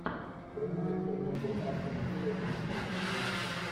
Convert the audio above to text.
прямой эфир между астон виллой и манчестер юнайтед